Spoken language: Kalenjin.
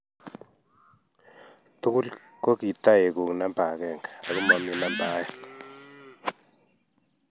Togul ko kitaekuu namba akenge ako momii namba oeng.